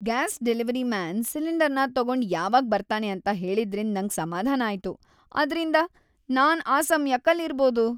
Gas delivery man ಸಿಲಿಂಡರ್‌ನ ತಗೊಂಡ್ ಯಾವಾಗ್ ಬರ್ತಾನೆ ಅಂತ ಹೇಳಿದ್ರಿಂದ್ ನಂಗ್ ಸಮಾಧಾನ ಆಯ್ತು, ಆದ್ರಿಂದ ನಾನ್ ಆ ಸಮ್ಯಕ್ಕೆ ಆಲ್ ಇರ್ಬೋದು.